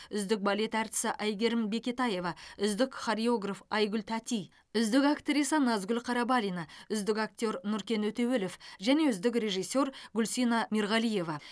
үздік балет әртісі әйгерім бекетаева үздік хореограф айгүл тәти үздік актриса назгүл қарабалина үздік актер нұркен өтеуілов және үздік режиссер гүлсина мирғалиева